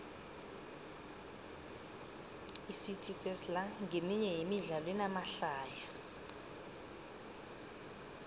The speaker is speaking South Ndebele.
icity sesla nqeminye yemidlalo enamahlaya